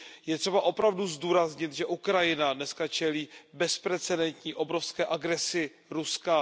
Je třeba opravdu zdůraznit, že Ukrajina dnes čelí bezprecedentní, obrovské agresi Ruska.